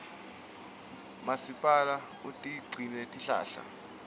masipala utigecile tihlahla